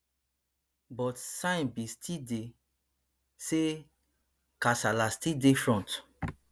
but sign bin still dey say kasala still dey front